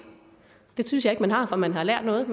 det synes jeg ikke man har for man har lært noget